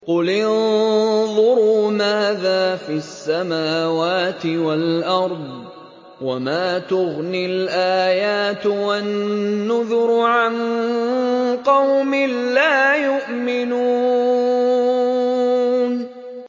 قُلِ انظُرُوا مَاذَا فِي السَّمَاوَاتِ وَالْأَرْضِ ۚ وَمَا تُغْنِي الْآيَاتُ وَالنُّذُرُ عَن قَوْمٍ لَّا يُؤْمِنُونَ